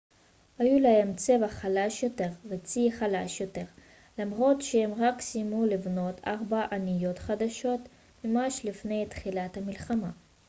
היו להם צבא חלש יותר וצי חלש יותר למרות שהם רק סיימו לבנות ארבע אניות חדשות ממש לפני תחילת המלחמה